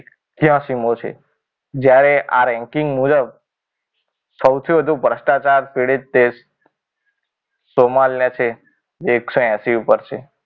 ત્યાસી મો છે. જ્યારે આ રેન્કિંગ મુજબ સૌથી વધુ ભ્રષ્ટાચાર પીડિત દેશ સોમાલના છે જેક એકસો એસી ઉપર છે.